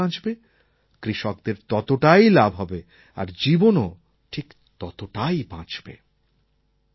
যত জল বাঁচবে কৃষকদের ততটাই লাভ হবে আর জীবনও ঠিক ততটাই বাঁচবে